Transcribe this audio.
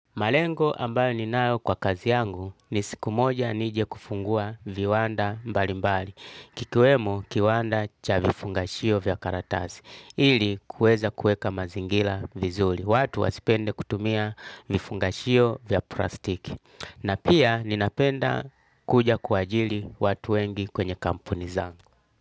Malengo ambayo ninayo kwa kazi yangu ni siku moja nije kufungua viwanda mbalimbali kikiwemo kiwanda cha vifungashio vya karatasi ili kuweza kuweka mazingira vizuri watu wasipende kutumia vifungashio vya plastiki na pia ninapenda kuja kuwaajiri watu wengi kwenye kampuni zangu.